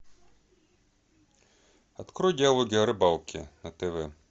открой диалоги о рыбалке на тв